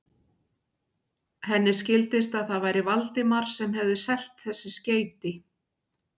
Henni skildist, að það væri Valdimar sem hefði selt þessi skeyti.